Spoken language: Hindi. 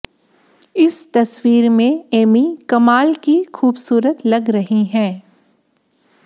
इस तस्वीर में एमी कमाल की खूबसूरत लग रही हैं